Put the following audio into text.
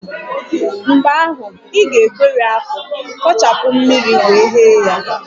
Mgbe ahụ, ị ga-egweri akpu, kpochapụ mmiri wee ghee ya